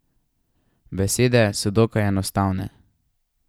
Besede so dokaj enostavne.